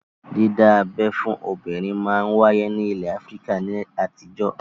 Dídábẹ́ fún obìnrin máa ń wáyé ní ilẹ̀ Áfíríkà ní àtijọ́